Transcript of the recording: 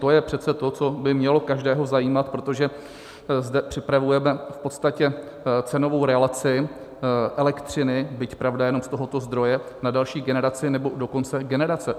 To je přece to, co by mělo každého zajímat, protože zde připravujeme v podstatě cenovou relaci elektřiny, byť, pravda, jenom z tohoto zdroje, na další generaci, nebo dokonce generace.